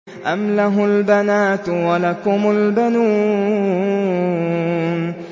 أَمْ لَهُ الْبَنَاتُ وَلَكُمُ الْبَنُونَ